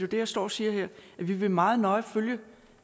det jeg står og siger her og vi vil meget nøje følge